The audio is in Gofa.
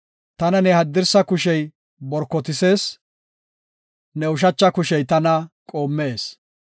Tana ne haddirsa kushey borkotisees, ne ushacha kushey tana qoommes.